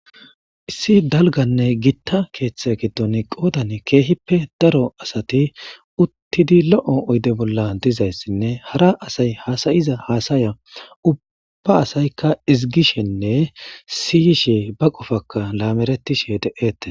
Issi dalganne gitta keeththe giddon qoodan keehippe daro asati uttidi lo'o oyde bolla dizayssinne hara asay hasayiza haasaya ubba asaykka izigishenne siyishe ba qofaka laameretishe de'eette.